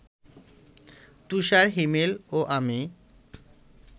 তুষার-হিমেল ও আমি